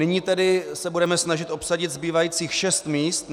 Nyní tedy se budeme snažit obsadit zbývajících 6 míst.